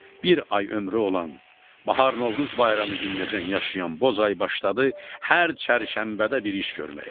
Bir ay ömrü olan bahar Novruz bayramı gününəcən yaşayan Bozay başladı hər çərşənbədə bir iş görməyə.